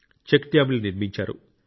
check డ్యామ్లు నిర్మించారు